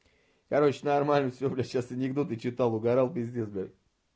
короче нормально всё бля сейчас анекдоты читал угорал пиздец блядь